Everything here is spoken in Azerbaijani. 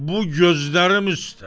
Bu gözlərim üstə.